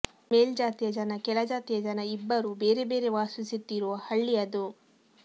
ಮೇಲ್ಜಾತಿಯ ಜನ ಕೆಳಜಾತಿಯ ಜನ ಇಬ್ಬರೂ ಬೇರೆ ಬೇರೆ ವಾಸಿಸುತ್ತಿರೋ ಹಳ್ಳಿಯದು